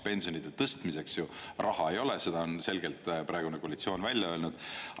Pensionide tõstmiseks raha ei ole, seda on selgelt praegune koalitsioon välja öelnud.